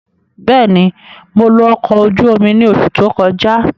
Bẹ́ẹ̀ni, Mo lo ọkọ oju omi ni oṣu to kọja.